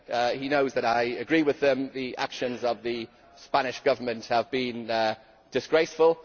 He knows that I agree with them that the actions of the Spanish Government have been disgraceful.